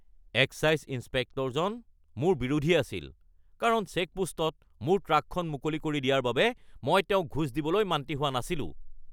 Excise ইঞ্চপেক্টৰজন মোৰ বিৰোধী আছিল কাৰণ চেকপোষ্টত মোৰ ট্ৰাকখন মুকলি কৰি দিয়াৰ বাবে মই তেওঁক ঘোচ দিবলৈ মান্তি হোৱা নাছিলোঁ।